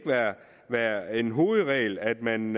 være en hovedregel at man